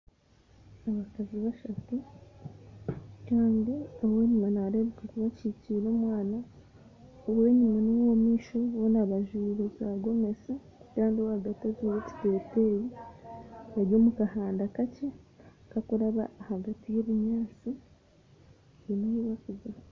Abakazi bashatu kandi owenyima nareebeka kuba akikire omwana owenyima nowa omumaisho boona bajwire za gomesi kandi owahagati ajwaire ekiteteyi bari omukahanda kakye kakuraba ahagati yebinyatsi haine ahu barikuza.